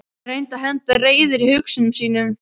Hann reyndi að henda reiður á hugsunum sínum.